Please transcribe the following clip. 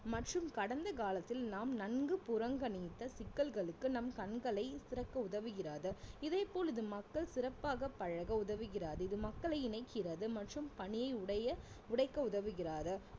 மற்றும் கடந்த காலத்தில் நாம் நன்கு புறங்கணிந்த சிக்கல்களுக்கு நம் கண்களை திறக்க உதவுகிறது இதேபோல் இது மக்கள் சிறப்பாக பழக உதவுகிறது இது மக்களை இணைக்கிறது மற்றும் பணி உடைய உடைக்க உதவுகிறது